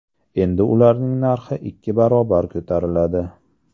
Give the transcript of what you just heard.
Endi ularning narxi ikki barobar ko‘tariladi.